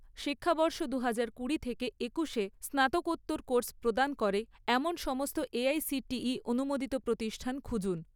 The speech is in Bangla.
শিক্ষাবর্ষ দুহাজার কুড়ি থেকে একুশ এ স্নাতকোত্তর কোর্স প্রদান করে এমন সমস্ত এআইসিটিই অনুমোদিত প্রতিষ্ঠান খুঁজুন